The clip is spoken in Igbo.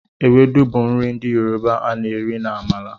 Ewedu bụ nri ndị Yoroba a na-eri na amala.